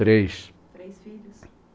Três. Três filhos.